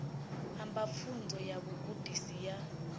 amba pfunzo ya vhugudisi ya